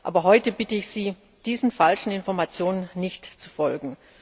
Aber heute bitte ich Sie, diesen falschen Informationen nicht zu folgen.